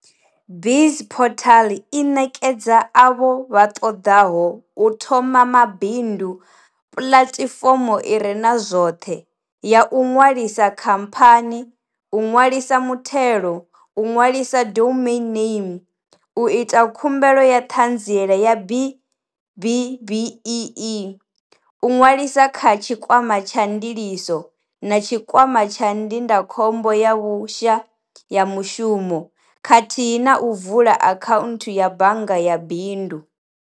BizPortal i ṋekedza avho vha ṱoḓaho u thoma mabindu pulatifomo ire na zwoṱhe, ya u ṅwalisa khaphani, u ṅwa lisa muthelo, u ṅwalisa domain name, u ita khumbelo ya ṱhanziela ya B-BBEE, u ṅwalisa kha Tshikwama tsha Ndiliso na Tshikwama tsha Ndindakhombo ya Vhusha ya mushumo, khathihi na u vula akhaunthu ya bannga ya bindu.